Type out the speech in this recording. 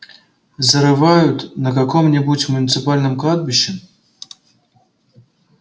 зарывают на каком-нибудь муниципальном кладбище